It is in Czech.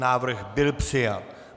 Návrh byl přijat.